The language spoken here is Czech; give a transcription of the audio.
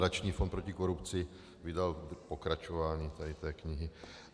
Nadační fond proti korupci vydal pokračování tady té knihy.